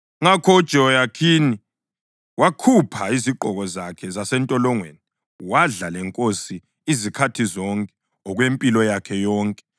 Ngakho uJehoyakhini wakhupha izigqoko zakhe zasentolongweni, wadla lenkosi izikhathi zonke okwempilo yakhe yonke.